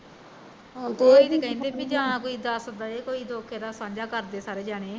ਏਹ ਵੀ ਨੀ ਕਹਿੰਦੇ ਵੀ ਜਾਂ ਕੋਈ ਦੱਸ ਦੇਵੇ ਕੋਈ ਦੁਖ ਇਹਦਾ ਸਾਂਝਾ ਕਰ ਦੇਵੇ ਸਾਰੇ ਜਣੇ